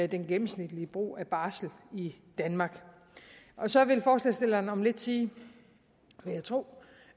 den gennemsnitlige brug af barsel i danmark så vil forslagsstillerne om lidt sige vil jeg tro